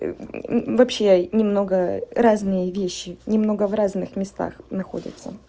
вообще немного разные вещи немного в разных местах находятся